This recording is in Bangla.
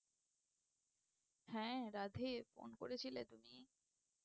হ্যাঁ রাধে phone করেছিলে তুমি?